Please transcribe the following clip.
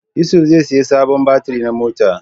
Yusuf zai saya sabon batiri na mota